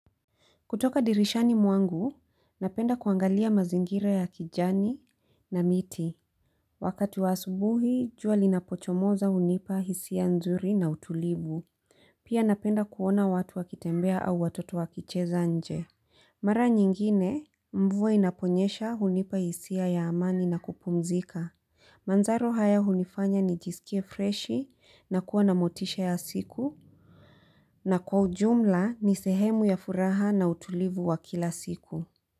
Kutoka dirishani mwangu, napenda kuangalia mazingira ya kijani na miti. Wakati wa asubuhi, juali na pochomoza unipa hisia ya nzuri na utulivu. Pia napenda kuona watu wakitembea au watoto wakicheza nje. Mara nyingine, mvua inaponyesha unipa hisi ya amani na kupumzika. Manzaro haya hunifanya ni jisikie freshi na kuwa na motisha ya siku na kwa ujumla ni sehemu ya furaha na utulivu wa kila siku.